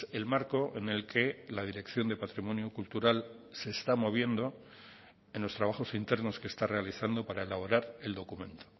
el marco en el que la dirección de patrimonio cultural se está moviendo en los trabajos internos que está realizando para elaborar el documento